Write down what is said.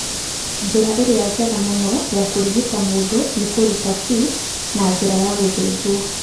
Njĩra ĩrĩa njega mũno ya kũrigita mũndũ nĩ kũruta cyst na njĩra ya gũthĩnjwo.